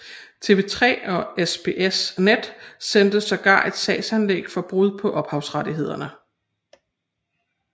TV3 og SBS Net sendte sågar et sagsanlæg for brud på ophavsrettigheder